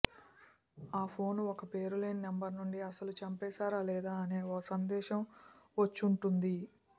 ఆఫోను ఒక పేరులేని నంబర్ల నుండి అసలు చంపేశారా లేదా అని ఓ సందేశం వచ్చుంటుంది